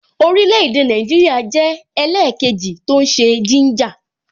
Orile-ede Naijiria jẹ́ ẹlẹkeji tó ń ṣe gínjà